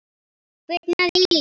Kviknað í.